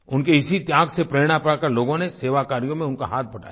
उनके इसी त्याग से प्रेरणा पाकर लोगों ने सेवा कार्यों में उनका हाथ बँटाया